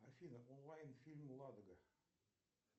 афина онлайн фильм ладога